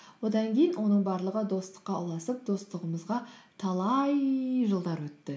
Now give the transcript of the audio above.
одан кейін оның барлығы достыққа ұласып достығымызға талай жылдар өтті